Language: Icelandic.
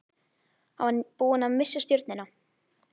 Hann var búinn að missa stjórnina.